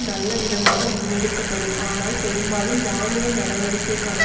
நல்லவிதமாக முன்னெடுக்க படும் ஆனால் பெரும்பாலும் இராணுவ நடவடிக்கைக்கான